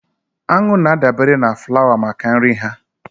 Aṅụ na-adabere na flawa maka nri ha